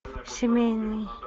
семейный